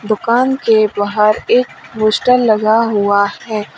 दुकान के बाहर एक पोस्टर लगा हुआ है।